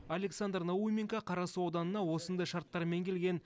александр науменко қарасу ауданына осындай шарттармен келген